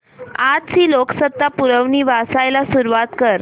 आजची लोकसत्ता पुरवणी वाचायला सुरुवात कर